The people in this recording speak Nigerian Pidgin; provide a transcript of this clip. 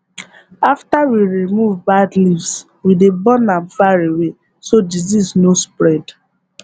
after we remove bad leaves we dey burn am far away so disease no spread